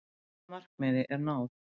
Fyrsta markmiði er náð.